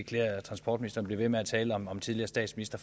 klæder transportministeren at blive ved med at tale om om tidligere statsministre